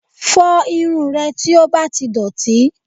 Fọ irun rẹ tí ó bá ti dọ̀tí